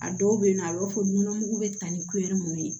A dɔw bɛ yen nɔ a b'a fɔ nɔnɔ mugu bɛ ta ni mun ye